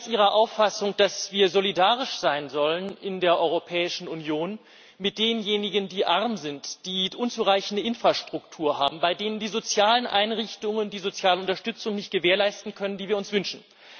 Ich bin ganz Ihrer Auffassung, dass wir solidarisch sein sollen in der Europäischen Union mit denjenigen, die arm sind, die unzureichende Infrastruktur haben, bei denen die sozialen Einrichtungen die soziale Unterstützung nicht gewährleisten können, die wir uns wünschen.